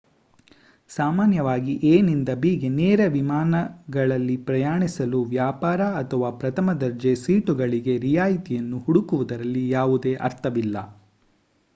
ಸಾಮಾನ್ಯವಾಗಿ ಎ ನಿಂದ ಬಿ ಗೆ ನೇರ ವಿಮಾನಗಳಲ್ಲಿ ಪ್ರಯಾಣಿಸಲು ವ್ಯಾಪಾರ ಅಥವಾ ಪ್ರಥಮ ದರ್ಜೆ ಸೀಟುಗಳಿಗೆ ರಿಯಾಯಿತಿಯನ್ನು ಹುಡುಕುವುದರಲ್ಲಿ ಯಾವುದೇ ಅರ್ಥವಿಲ್ಲ